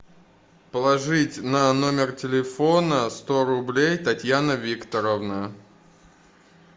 положить на номер телефона сто рублей татьяна викторовна